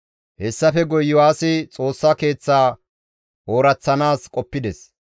Hessafe guye Iyo7aasi Xoossa Keeththaa ooraththanaas qoppides.